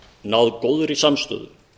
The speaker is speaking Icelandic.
náð góðri samstöðu